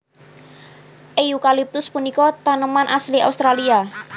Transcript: Eukaliptus punika taneman asli Australia